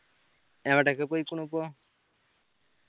എവിടൊക്കെ പോയിക്കിണു ഇപ്പൊ